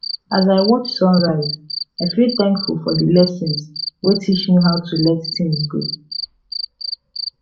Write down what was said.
as i watch sunrise i feel thankful for di lessons wey teach me how to let things go